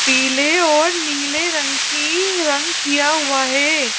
पीले और नीले रंग की रंग किया हुआ है।